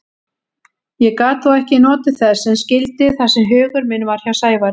Ég gat þó ekki notið þess sem skyldi þar sem hugur minn var hjá Sævari.